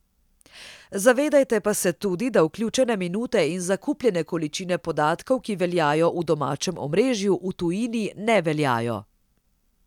Zavedajte pa se tudi, da vključene minute in zakupljene količine podatkov, ki veljajo v domačem omrežju, v tujini ne veljajo.